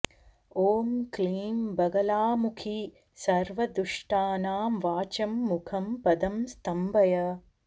ॐ क्लीं बगलामुखि सर्वदुष्टानां वाचं मुखं पदं स्तम्भय